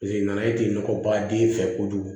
nana e tɛ nɔgɔ baden fɛ kojugu